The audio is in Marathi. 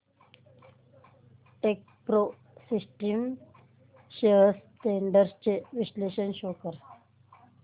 टेकप्रो सिस्टम्स शेअर्स ट्रेंड्स चे विश्लेषण शो कर